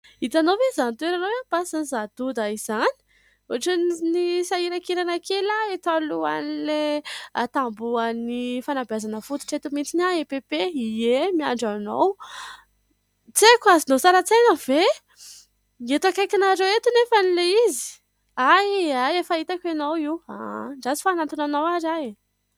Hitanao ve izany toerana eo ampasan'i zadoda izany ohatrany sahirankirana kely aho eto alohan'ny tambohon'ny fanabeazana fototra eto mihitsy aho EPP eny , miandry anao tsy aiko azonao sary antsaina ve eto akaikinareo eto anefa anie ilay izy e, hay efa hitako ianao io andrasako fa hanantona anao ary aho e.